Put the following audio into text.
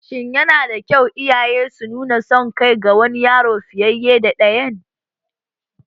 Shin yana da kyau iyaye su nuna son kai ga wani yaro fiye da ɗayan?